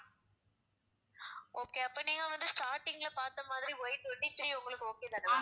okay அப்ப நீங்க வந்து starting ல பார்த்த மாதிரி Y twenty-three உங்களுக்கு okay தான ma'am